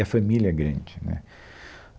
E a família é grande, né?